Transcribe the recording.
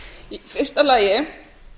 í fyrsta lagi